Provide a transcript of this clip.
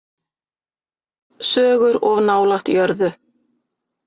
Sögur of nálægt jörðu.